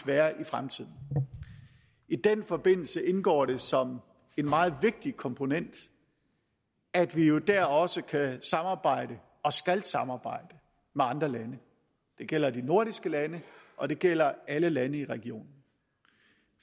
være i fremtiden i den forbindelse indgår det som en meget vigtig komponent at vi jo dér også kan samarbejde og skal samarbejde med andre lande det gælder de nordiske lande og det gælder alle lande i regionen